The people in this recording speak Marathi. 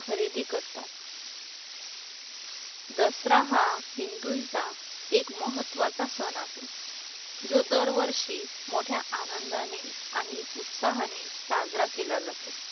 खरेदी करतात दसरा हा हिंदूंचा एक महत्त्वाचा सण आहे. जो दर वर्षी मोठ्या आनंदाने आणि उत्साहाने साजरा केला जातो.